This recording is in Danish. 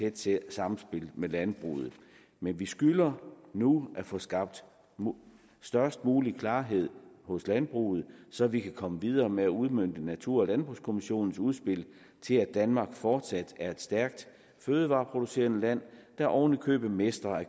et tæt sammenspil med landbruget men vi skylder nu at få skabt størst mulig klarhed hos landbruget så vi kan komme videre med at udmønte natur og landbrugskommissionens udspil til at danmark fortsat er et stærkt fødevareproducerende land der oven i købet mestrer at